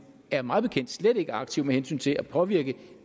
er mig bekendt slet ikke aktiv med hensyn til at påvirke